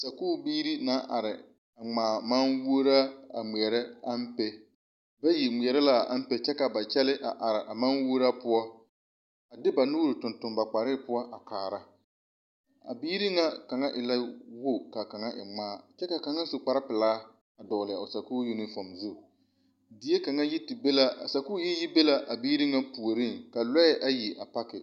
Sakubiiri naŋ are ŋmaa maŋguoraa a ŋmeɛrɛ ampe bayi ŋmeɛrɛ la a ampe kyɛ ka ba kyɛllee a are moɔ poɔ de ba nuure a tuŋ tuŋ ba kɔre poɔ a kaara a biiri ŋa mine e la wogi kyɛ ka kaŋa e ŋmaa kyɛ ka kaŋa su kpar pelaa vɔgele a sakuuri na kaŋ zu die kaŋa a sakuuri yi te be la a biiri ŋa puoriŋ ka lɔɛ ayi yi te pake